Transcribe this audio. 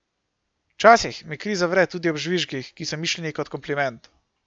Včasih mi kri zavre tudi ob žvižgih, ki so mišljeni kot kompliment.